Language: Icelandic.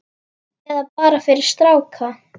Eða bara fyrir stráka!